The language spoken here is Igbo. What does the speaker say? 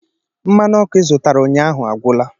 Mmanụ ọkụ ị zụtara ụnyaahụ agwụla